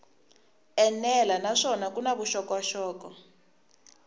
enela naswona ku na vuxokoxoko